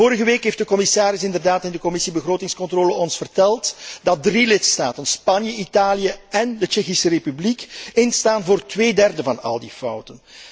Vorige week heeft de commissaris ons in de Commissie begrotingscontrole inderdaad verteld dat drie lidstaten, Spanje, Italië en de Tsjechische Republiek, instaan voor tweederde van al die fouten.